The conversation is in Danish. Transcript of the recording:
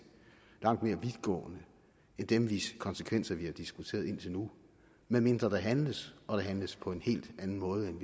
langt mere vidtgående end dem hvis konsekvenser vi har diskuteret indtil nu medmindre der handles og der handles på en helt anden måde end